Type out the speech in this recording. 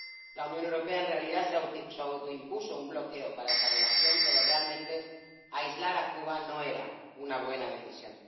La Unión Europea en realidad se autoimpuso un bloqueo para esa relación, pero realmente aislar a Cuba no era una buena decisión.